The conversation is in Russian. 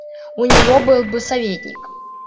у него был бы советник